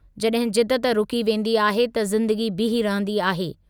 जॾहिं जिदत रुकी वेंदी आहे त ज़िंदगी बीही रहंदी आहे।